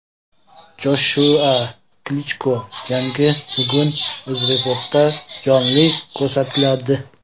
Joshua Klichko jangi bugun UzReportda jonli ko‘rsatiladi.